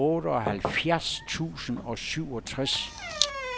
otteoghalvfjerds tusind og syvogtres